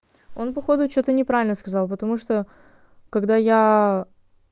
он походу что-то неправильно сказал потому что когда я